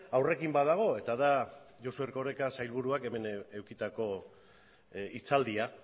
aurrekin badago eta da josu erkoreka sailburuak hemen edukitako hitzaldia